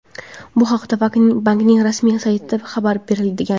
Bu haqda bankning rasmiy saytida xabar berilgan.